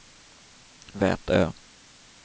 Vätö